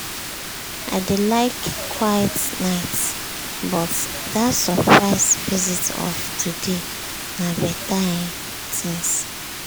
i dey like quiet nights but di surprise visit of today na beta um thing. um